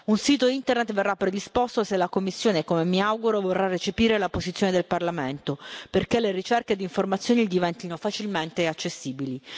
Un sito internet verrà predisposto se la Commissione, come mi auguro, vorrà recepire la posizione del Parlamento perché le ricerche di informazioni diventino facilmente accessibili.